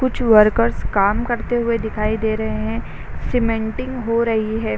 कुछ वर्कर्स काम करते हुए दिखाई दे रहे हैं सिमेन्टिंग हो रही है।